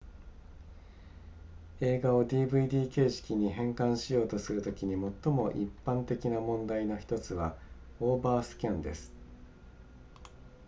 映画を dvd 形式に変換しようとするときに最も一般的な問題の1つはオーバースキャンです